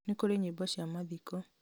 nĩ kũrĩ nyĩmbo cia mathiko